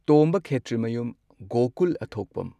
ꯇꯣꯝꯕ ꯈꯦꯇ꯭ꯔꯤꯃꯌꯨꯝ ꯒꯣꯀꯨꯜ ꯑꯊꯣꯛꯄꯝ꯫